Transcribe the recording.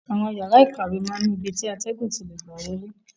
Àwọn yàrá ìkàwé máa n ni ibi ti atẹgun ti lè gbà wọlé.